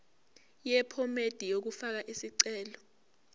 yephomedi yokufaka isicelo